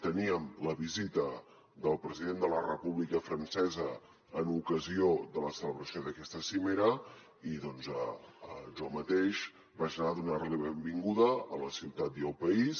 teníem la visita del president de la república francesa en ocasió de la celebració d’aquesta cimera i doncs jo mateix vaig anar a donarli la benvinguda a la ciutat i al país